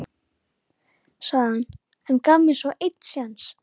sagði hann, en gaf mér svo einn séns.